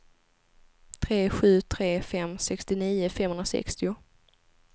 tre sju tre fem sextionio femhundrasextio